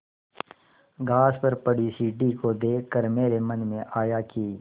घास पर पड़ी सीढ़ी को देख कर मेरे मन में आया कि